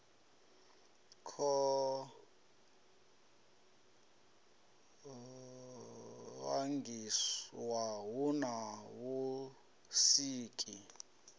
kwo vangiwa hu na vhusiki